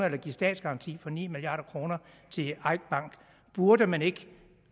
en statsgaranti på ni milliard kroner til eik bank burde man ikke